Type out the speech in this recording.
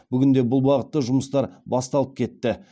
бүгінде бұл бағытта жұмыстар басталып кетті